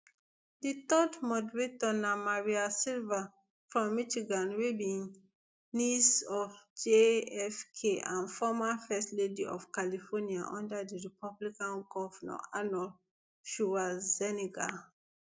di third moderator na maria shriver from michigan wey be niece of jfk and former first lady of california under di republican govnor arnold schwarzenegger